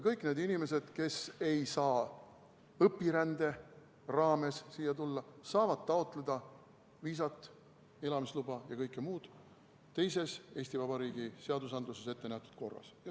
Kõik need inimesed, kes ei saa õpirände raames siia tulla, saavad taotleda viisat, elamisluba ja kõike muud teises Eesti Vabariigi seadustes ettenähtud korras.